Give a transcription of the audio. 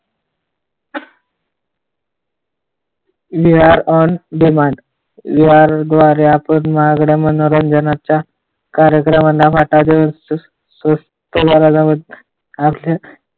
We are on demand या द्वारे आपण महागड्यामनोरंजनाच्या कार्यक्रमांना फाटा देऊ शकतो.